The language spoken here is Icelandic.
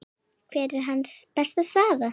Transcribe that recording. Hver er hans besta staða?